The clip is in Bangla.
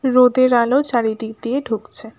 রোদের আলো চারিদিক দিয়ে ঢুকছে।